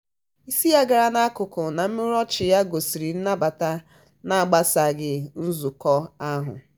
isi ya gara n'akụkụ na imurimu ọchị ya gosiri nnabata na-agbasasịghị nzukọ ahụ.